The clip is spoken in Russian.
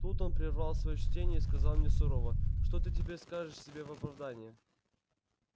тут он прервал своё чтение и сказал мне сурово что ты теперь скажешь себе в оправдание